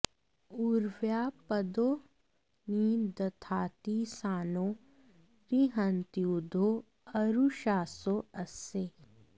उ॒र्व्याः प॒दो नि द॑धाति॒ सानौ॑ रि॒हन्त्यूधो॑ अरु॒षासो॑ अस्य